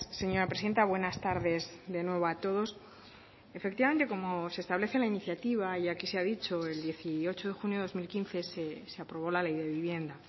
señora presidenta buenas tardes de nuevo a todos efectivamente como se establece en la iniciativa y aquí se ha dicho el dieciocho de junio de dos mil quince se aprobó la ley de vivienda